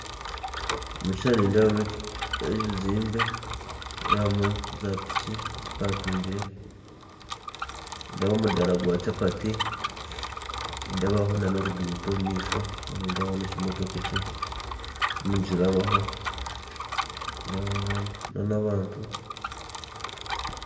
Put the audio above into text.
Omu kishushani nindeebamu ebizimbe, nindeebamu zaapiki zipakingire nindeeba omudaara gwa chapati nindeebaho n'oruguuto omumaisho, nindeebaho n'ekimotoka ekirimu nikirabaho, nindeebaho n'abantu.